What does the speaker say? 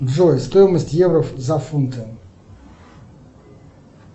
джой стоимость евро за фунты